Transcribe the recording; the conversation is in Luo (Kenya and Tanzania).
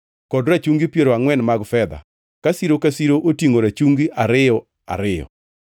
kod rachungi piero angʼwen mag fedha, ka siro ka siro otingʼo rachungi ariyo ariyo.